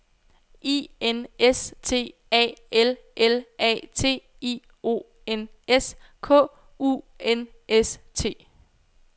I N S T A L L A T I O N S K U N S T